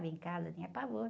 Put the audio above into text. Em casa, eu tinha pavor.